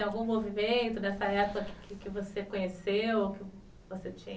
Algum movimento nessa época que você conheceu?